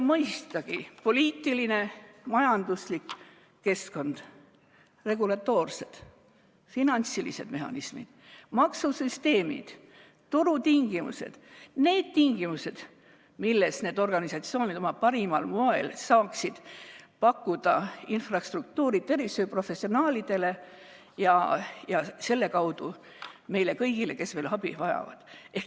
Mõistagi ka poliitiline ja majanduslik keskkond, regulatoorsed, finantsilised mehhanismid, maksusüsteemid, turutingimused, need tingimused, milles need organisatsioonid oma parimal moel saaksid pakkuda infrastruktuuri tervishoiuprofessionaalidele ja selle kaudu meile kõigile, kes abi vajavad.